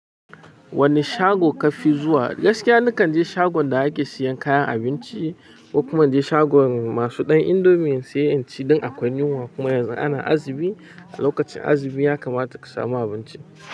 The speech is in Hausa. Wanne shago kafi zuwa? Gaskiya ni kan je shagon da ake siyan kayan abinci, ko kuma na je shagon masu ɗan indomie, in saya in ci, dan akwai yunwa kuma yanzu ana azumi. A lokacin azumi ya kamata ka samu abinci.